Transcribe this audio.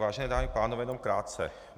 Vážené dámy a pánové, jenom krátce.